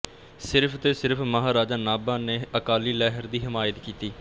ਸਿਰਫ਼ ਤੇ ਸਿਰਫ਼ ਮਹਾਰਾਜਾ ਨਾਭਾ ਨੇ ਅਕਾਲੀ ਲਹਿਰ ਦੀ ਹਿਮਾਇਤ ਕੀਤੀ